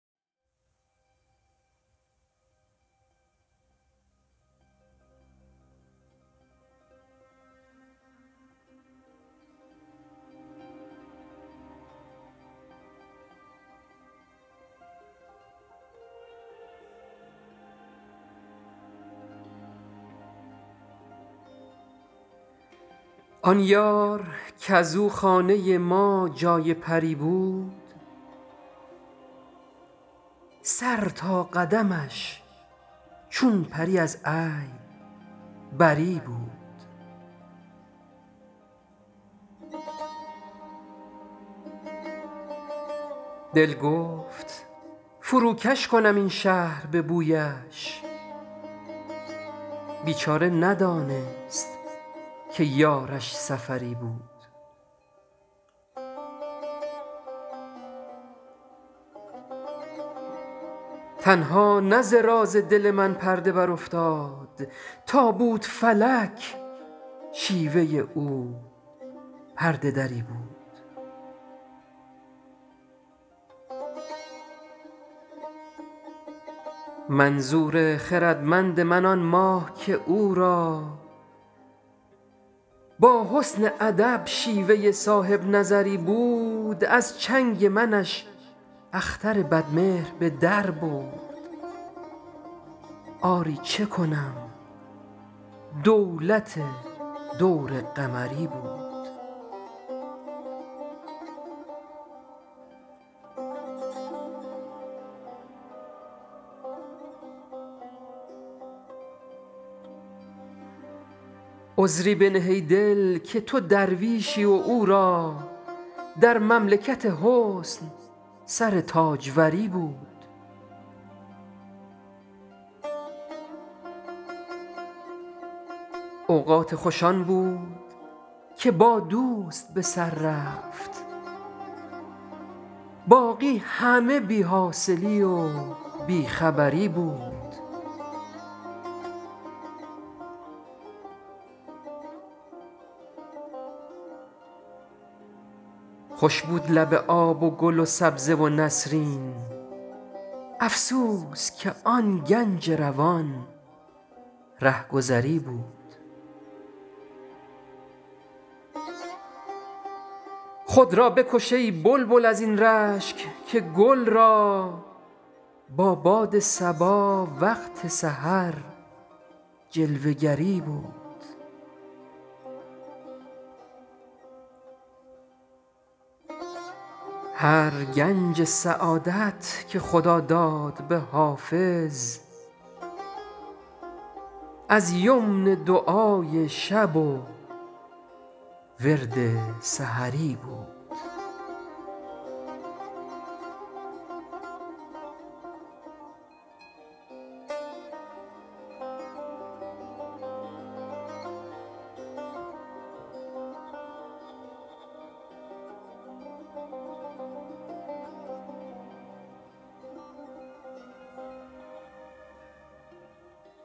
آن یار کز او خانه ما جای پری بود سر تا قدمش چون پری از عیب بری بود دل گفت فروکش کنم این شهر به بویش بیچاره ندانست که یارش سفری بود تنها نه ز راز دل من پرده برافتاد تا بود فلک شیوه او پرده دری بود منظور خردمند من آن ماه که او را با حسن ادب شیوه صاحب نظری بود از چنگ منش اختر بدمهر به در برد آری چه کنم دولت دور قمری بود عذری بنه ای دل که تو درویشی و او را در مملکت حسن سر تاجوری بود اوقات خوش آن بود که با دوست به سر رفت باقی همه بی حاصلی و بی خبری بود خوش بود لب آب و گل و سبزه و نسرین افسوس که آن گنج روان رهگذری بود خود را بکش ای بلبل از این رشک که گل را با باد صبا وقت سحر جلوه گری بود هر گنج سعادت که خدا داد به حافظ از یمن دعای شب و ورد سحری بود